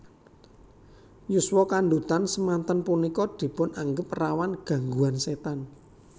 Yuswa kandhutan semanten punika dipun anggep rawan gangguan setan